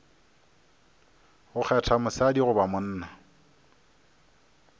go kgetha mosadi goba monna